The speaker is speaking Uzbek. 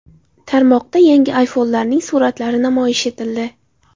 Tarmoqda yangi iPhone’larning suratlari namoyish etildi.